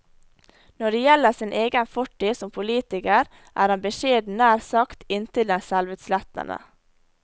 Når det gjelder sin egen fortid som politiker, er han beskjeden nær sagt inntil det selvutslettende.